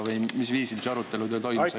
Või mis viisil see arutelu teil toimus?